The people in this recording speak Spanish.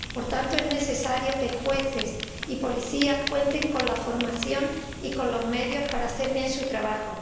Por tanto, es necesario que jueces y policías cuenten con la formación y con los medios para hacer bien su trabajo.